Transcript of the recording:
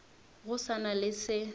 go sa na le se